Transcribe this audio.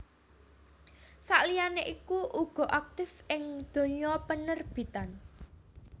Sakliyane iku uga aktif ing dunya penerbitan